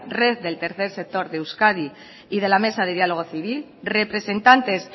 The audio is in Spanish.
red del tercer sector de euskadi y de la mesa de diálogo civil representantes